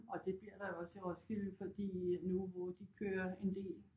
Og det bliver der jo også i Roskilde fordi nu hvor de kører en del